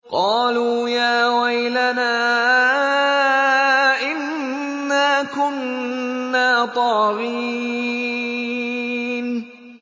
قَالُوا يَا وَيْلَنَا إِنَّا كُنَّا طَاغِينَ